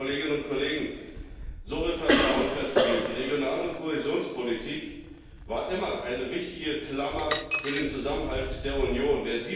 Liebe Kolleginnen und Kollegen, so wird Vertrauen verspielt! Die regionale Kohäsionspolitik war immer eine wichtige Klammer für den Zusammenhalt der Union.